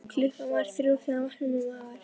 Klukkan var þrjú þegar hann vaknaði með magaverk.